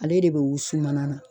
Ale de bi wusu mana na